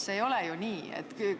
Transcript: See ei ole ju nii!